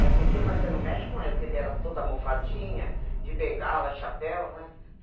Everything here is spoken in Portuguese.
É turquinha, mas você não mexe com ela, porque ela era toda almofadinha, de bengala, chapéu, né?